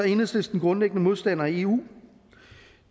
enhedslisten grundlæggende modstander af eu